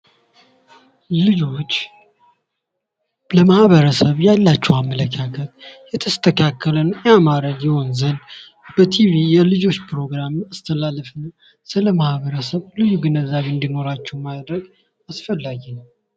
ልጆች ለማህበረሰብ ያላቸው አመለካከት የተስተካከለ ያማረ ይሆን ዘንድ በቲቪ የልጆች ፕሮግራም ሲተላለፍ ስለማህበረሰብ ልዩ ግንዛቤ እንድኖራቸው ማድረግ አስፈላጊ ነው።